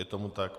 Je tomu tak.